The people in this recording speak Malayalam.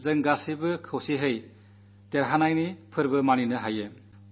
അപ്പോഴേ നമുക്ക് ഒരുമിച്ചു ചേർന്ന് വിജയാഘോഷം നടത്താനാകൂ